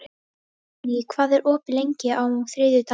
Hróðný, hvað er opið lengi á þriðjudaginn?